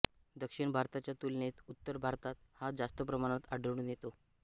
दक्षिण भारताच्या तुलनेत उत्तर भारतात हा जास्त प्रमाणात आढळून येतो